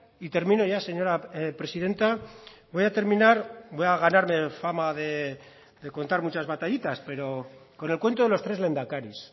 y termino ya señora presidenta voy a terminar voy a ganarme fama de contar muchas batallitas pero con el cuento de los tres lehendakaris